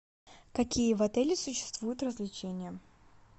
какие в отеле существуют развлечения